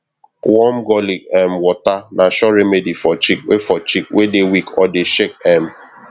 warm garlic um water na sure remedy for chick wey for chick wey dey weak or dey shake um